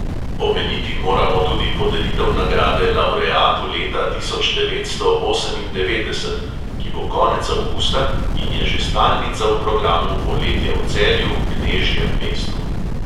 Omeniti moramo tudi podelitev nagrade lavreatu leta tisoč devetsto osemindevetdeset, ki bo konec avgusta in je že stalnica v programu poletja v celju, knežjem mestu.